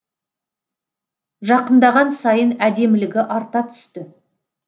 жақындаған сайын әдемілігі арта түсті